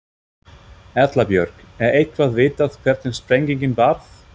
Erla Björg: Er eitthvað vitað hvernig sprengingin varð?